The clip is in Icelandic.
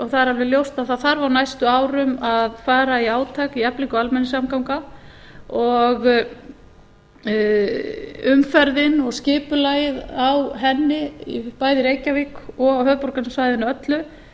er alveg ljóst að á næstu árum þarf að fara í átak í eflingu almenningssamgangna umferðin og skipulagið á henni bæði í reykjavík og höfuðborgarsvæðinu öllu